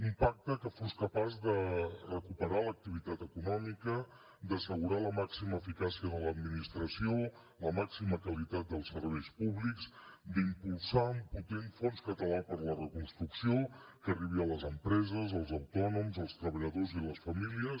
un pacte que fos capaç de recuperar l’activitat econòmica d’assegurar la màxima eficàcia de l’administració la màxima qualitat dels serveis públics d’impulsar un potent fons català per la reconstrucció que arribi a les empreses als autònoms als treballadors i les famílies